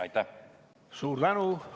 Suur tänu!